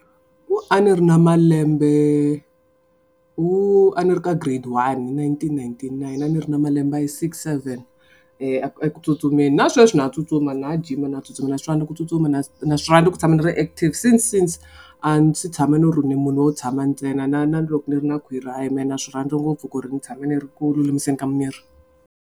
Ku a ni ri na malembe wu a ni ri ka grade one nineteen ninety nine a ni ri na malembe ya six seven eku tsutsumeni na sweswi na ha tsutsuma na ha jima na tsutsuma na swona na ku tsutsuma na na swi ku tshama ni ri active since since a ndzi si tshama ni ri ni munhu wo tshama ntsena na na loko ni ri na khwiri hayi mehe na swi rhandza ngopfu ku ri ni tshama ni ri ku lulamiseni ka miri.